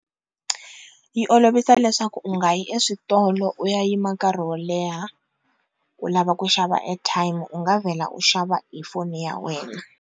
Yi olovisa leswaku u nga yi eswitolo u ya yima nkarhi wo leha u lava ku xava airtime u nga vhela u xava hi foni ya wena.